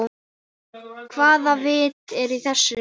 Hvaða vit er í þessu?